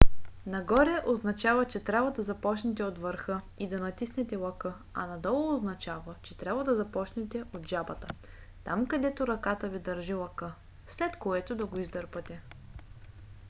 нагоре означава че трябва да започнете от върха и да натиснете лъка а надолу означава че трябва да започнете от жабата там където ръката ви държи лъка след което да го издърпате